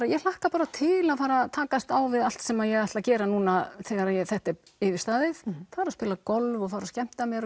ég hlakka bara til að fara að takast á við allt sem ég ætla að gera núna þegar þetta er yfirstaðið fara að spila golf og skemmta mér